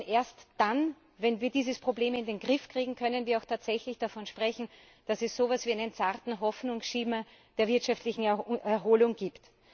Denn erst dann, wenn wir dieses Problem in den Griff kriegen, können wir auch tatsächlich davon sprechen, dass es so etwas wie einen zarten Hoffnungsschimmer der wirtschaftlichen Erholung gibt.